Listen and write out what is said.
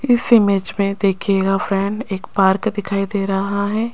इस इमेज में देखिएगा फ्रेंड एक पार्क दिखाई दे रहा है।